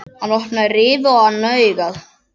Hann opnaði rifu á annað augað.